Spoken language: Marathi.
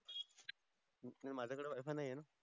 नाही माझ्या कड wi-fi नाही आहे न